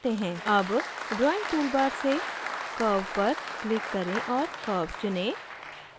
अब drawing toolbar से curve पर click करें और curve चुनें